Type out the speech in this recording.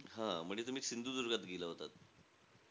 हां. म्हणजे तुम्ही सिंधुदुर्गात गेला होता.